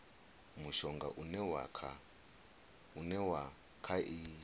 mushonga une wa kha i